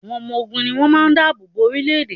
Àwọn ọmọ ogun ni wn máa da àbò bo orílẹ́-èdè.